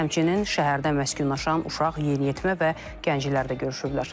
Həmçinin şəhərdə məskunlaşan uşaq, yeniyetmə və gənclər də görüşüblər.